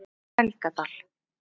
Helgadal